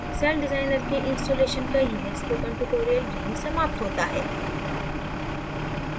CellDesigner के installation का यह spoken tutorial यहीं समाप्त होता है